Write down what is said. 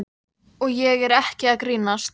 Og ég er ekki að grínast.